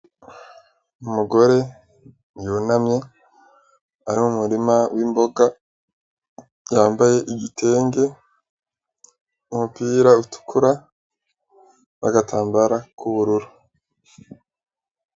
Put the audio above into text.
Umugore yunamye ari mu murima w'imboga yambaye igitenge n'umupira utukura n'agatambara k'ubururu.